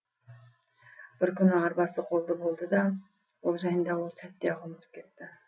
бір күні арбасы қолды болды да ол жайында сол сәтте ақ ұмытып кетті